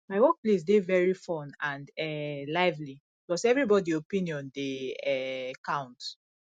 my workplace dey very fun and um lively plus everybody opinion dey um count